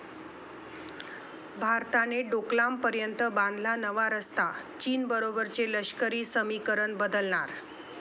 भारताने डोकलामपर्यंत बांधला नवा रस्ता. चीन बरोबरचे लष्करी समीकरण बदलणार